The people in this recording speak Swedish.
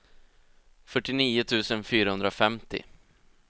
fyrtionio tusen fyrahundrafemtio